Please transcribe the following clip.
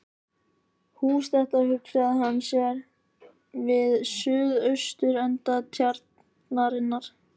Hús þetta hugsaði hann sér við suð-austurenda Tjarnarinnar.